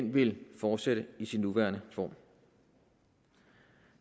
ville fortsætte i sin nuværende form